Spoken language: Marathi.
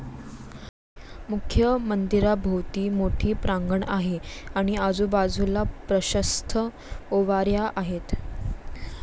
मुख्य मंदिराभोवती मोठे प्रांगण आहे आणि आजूबाजूला प्रशस्त ओवऱ्याआहेत.